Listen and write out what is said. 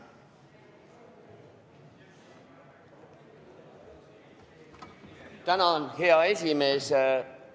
Tänan, hea esimees!